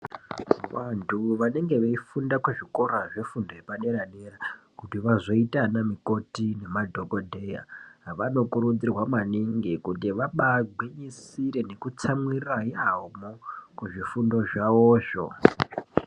Vandu vanenge veifunda kuzvikora zvefundo yepa dera dera kuti vazoita ana mukoti nema dhokoteya vanokurudzirwa maningi kuti vabaingwinyisire neku tsamwirira iwamo muzvifundo zvawozvo.